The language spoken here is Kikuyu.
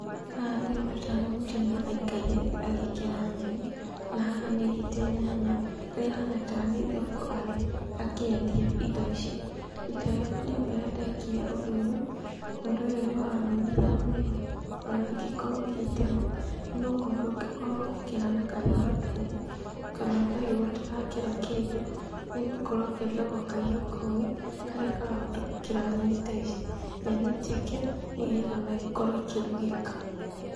Haha ndĩrona tarĩ mũtumia aikaire thĩ agĩkera nyeni, na haha nĩaigĩte nyanya, harĩa ahana tarĩ thoko arĩ, akĩendia indo ici. Rita rĩakwa rĩambere ndekire ũndũ ũyũ, ũndũ ũyũ nĩwanogirie mũno, ona ngĩkorwo ngĩtema, nĩgũkorwo ndũngĩkorwo ũgĩkera na kahiũ gatuhu, kana kahiũ gatarakera kĩndũ, nĩgũkorwo kendagwo kahiũ kogĩ, karĩa karahota gũkera nyeni ta ici, nyeni njeke, nĩgetha ona ikorwo ikĩrugĩka.